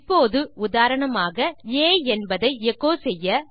இப்போது உதாரணமாக ஆ என்பதை எச்சோ செய்ய